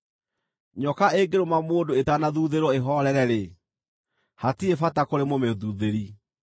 Nyoka ĩngĩrũma mũndũ ĩtanathuuthĩrwo ĩhoorere-rĩ, hatirĩ bata kũrĩ mũmĩthuuthĩri.